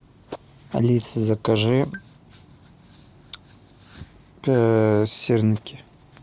алиса закажи сырники